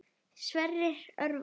Sverrir Örvar.